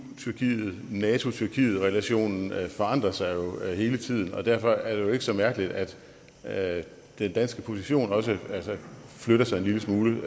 nato tyrkiet relationen forandrer sig hele tiden og derfor er det jo ikke så mærkeligt at at den danske position også flytter sig en lille smule